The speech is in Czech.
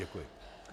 Děkuji.